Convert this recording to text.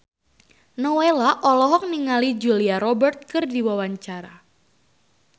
Nowela olohok ningali Julia Robert keur diwawancara